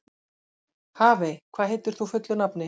Hafey, hvað heitir þú fullu nafni?